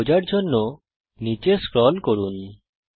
π খোঁজার জন্যে নিচে স্ক্রল করুন